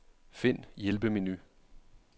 Find hjælpemenu.